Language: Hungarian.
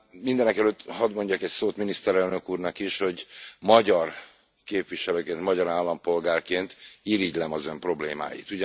Mindenekelőtt hadd mondjak egy szót Miniszterelnök úrnak is, hogy magyar képviselőként, magyar állampolgárként irigylem az ön problémáit.